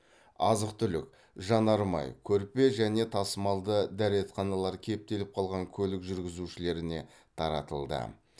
азық түлік жанармай көрпе және тасымалды дәретханалар кептеліп қалған көлік жүргізушілеріне таратылды